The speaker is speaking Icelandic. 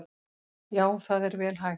Já það er vel hægt.